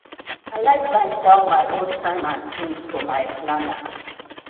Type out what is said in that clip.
i like write down my own time and tings for my planner.